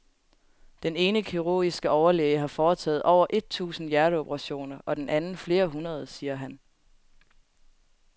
Den ene kirurgiske overlæge har foretaget over et tusind hjerteoperationer og den anden flere hundrede, siger han.